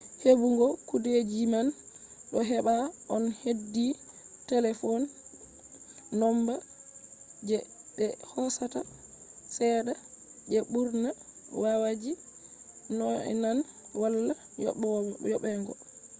hebugo kudeejiman do hebaa on heedi talefon nomba je be hosata chede je mburna wayaji nyonaan wala yoobego